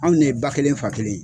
Anw de ye ba kelen fa kelen ye